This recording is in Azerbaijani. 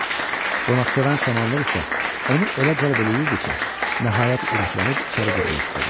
Qonaqsevər samanlıq isə onu elə cəlb eləyirdi ki, nəhayət ürəklənib içəri girmək istədi.